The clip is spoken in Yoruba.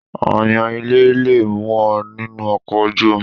Ááyan ilé le mú ọ nínú ọkọ̀ ojú omi.